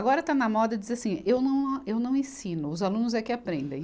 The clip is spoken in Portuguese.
Agora está na moda dizer assim, eu não, eu não ensino, os alunos é que aprendem.